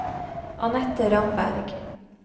Annette Ramberg